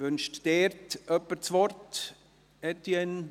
Wünscht jemand das Wort dazu?